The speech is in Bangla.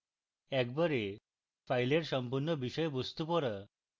একবারে file সম্পূর্ণ বিষয়বস্তু পড়া